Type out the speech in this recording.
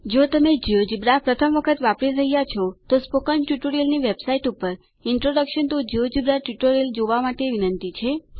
જો તમે પ્રથમ વખત જિયોજેબ્રા વાપરી રહ્યા છો તો સ્પોકન ટ્યુટોરિયલની વેબસાઈટ ઉપર ઇન્ટ્રોડક્શન ટીઓ જિયોજેબ્રા ટ્યુટોરીયલ જોવા માટે વિનંતી છે